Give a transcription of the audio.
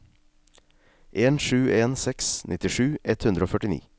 en sju en seks nittisju ett hundre og førtini